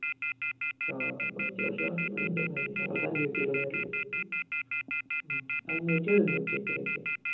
ആഹ് അത്യാവശ്യം ഉണ്ട് ഞങ്ങൾക്ക് അഞ്ഞൂറ്റി ഒക്കെ ആണ് വരൽ അഞ്ഞൂറ്റി എഴുനൂറ്റി അത്രയൊക്കെ